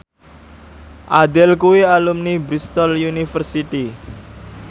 Adele kuwi alumni Bristol university